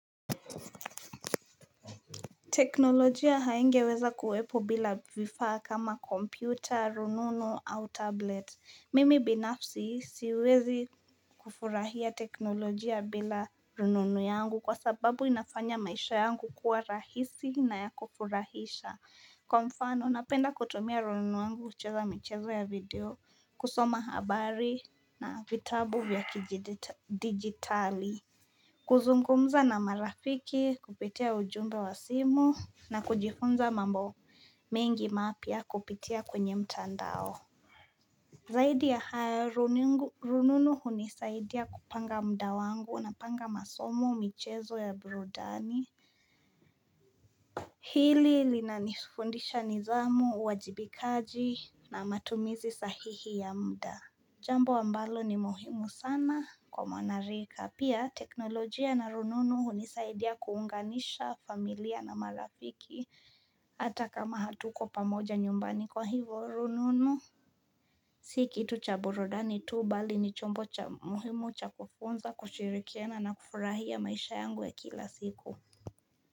Teknolojia haingeweza kuwepo bila vifaa kama kompyuta, rununu au tablet. Mimi binafsi siwezi kufurahia teknolojia bila rununu yangu kwa sababu inafanya maisha yangu kuwa rahisi na ya kufurahisha. Kwa mfano, napenda kutumia rununu yangu kucheza michezo ya video, kusoma habari na vitabu vya kijidigitali. Kuzungumza na marafiki kupitia ujumbe wa simu, na kujifunza mambo mengi mapya kupitia kwenye mtandao. Zaidi ya hayo rununu unisaidia kupanga mda wangu, napanga masomo michezo ya brudani Hili linanifundisha nidhamu, uajibikaji na matumizi sahihi ya mda. Jambo ambalo ni muhimu sana kwa mwanarika. Pia, teknolojia na rununu unisaidia kuunganisha familia na malafiki. Hata kama hatuko pamoja nyumbani kwa hivo rununu si kitu cha burudani tu bali ni chombo cha muhimu cha kufunza, kushirikiana na kufurahia maisha yangu ya kila siku.